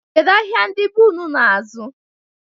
Kedu ahịa ndị be ụnụ na-azụ?